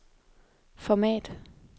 format